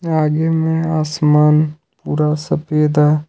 आगे में आसमान पूरा सफेद है।